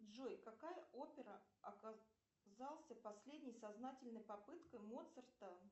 джой какая опера оказался последней сознательной попыткой моцарта